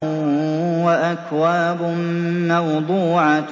وَأَكْوَابٌ مَّوْضُوعَةٌ